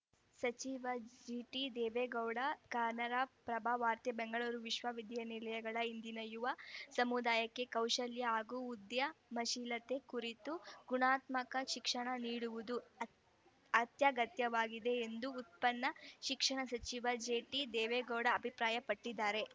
ಸಚಿವ ಜಿಟಿದೇವೇಗೌಡ ಕನ್ನರ ಪ್ರಭ ವಾರ್ತೆ ಬೆಂಗಳೂರು ವಿಶ್ವವಿದ್ಯಾನಿಲಯಗಳು ಇಂದಿನ ಯುವ ಸಮುದಾಯಕ್ಕೆ ಕೌಶಲ್ಯ ಹಾಗೂ ಉದ್ಯ ಮಶೀಲತೆ ಕುರಿತ ಗುಣಾತ್ಮಕ ಶಿಕ್ಷಣ ನೀಡುವುದು ಅತ್ಯ ಗತ್ಯವಾಗಿದೆ ಎಂದು ಉನ್ನತ ಶಿಕ್ಷಣ ಸಚಿವ ಜಿಟಿದೇವೇಗೌಡ ಅಭಿಪ್ರಾಯಪಟ್ಟಿದ್ದಾರೆ